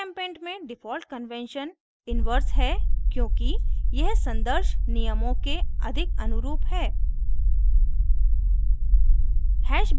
gchempaint में default convention inverse है क्योंकि यह संदर्श नियमों के अधिक अनुरूप है